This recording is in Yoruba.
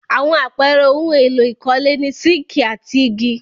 Àwọn àpẹẹrẹ ohun-èlò ìkọ́lé ni sííkì and igi.